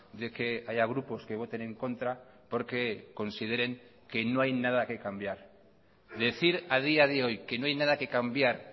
de que haya grupos que voten en contra porque consideren que no hay nada que cambiar decir a día de hoy que no hay nada que cambiar